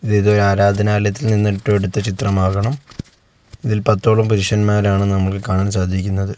ഇതൊരു ആരാധനാലയത്തിൽ നിന്നിട്ട് എടുത്ത ചിത്രമാകണം ഇതിൽ പത്തോളം പുരുഷന്മാരാണ് നമുക്ക് കാണാൻ സാധിക്കുന്നത്.